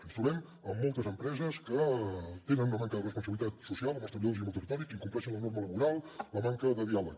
ens trobem amb moltes empreses que tenen una manca de responsabilitat social amb els treballadors i amb el territori que incompleixen la norma laboral la manca de diàleg